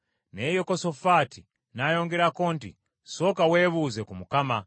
Naye Yekosafaati n’ayongerako nti, “Sooka weebuuze ku Mukama .”